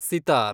sitar